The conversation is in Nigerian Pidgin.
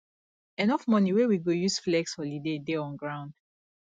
enough money wey we go use flex holiday dey on ground